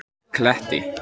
Kletti